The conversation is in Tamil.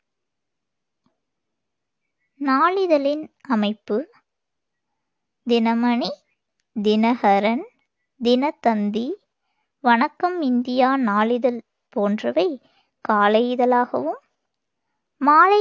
நாளிதழின் அமைப்பு தினமணி, தினகரன், தினத்தந்தி, வணக்கம் இந்தியா நாளிதழ் போன்றவை காலை இதழாகவும், மாலை